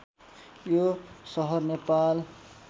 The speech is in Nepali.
यो सहर नेपाल